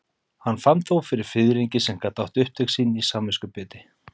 Hann fann þó fyrir fiðringi sem gat átt upptök sín í samviskubiti.